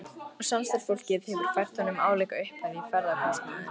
Og samstarfsfólkið hefur fært honum álíka upphæð í ferðakostnaðinn.